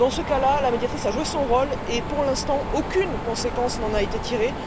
Dans ce cas là, la Médiatrice a joué son rôle et pour l'instant, aucune conséquence n'en a été tirée.